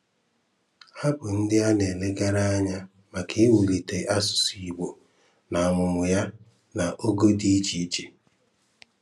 Há bụ́ ndị a na-elegára ànyá maka iwùlìté asụ̀sụ́ Ìgbò n’ámùmàmụ̀ ya n’ọ̀gọ̀ dị iche iche.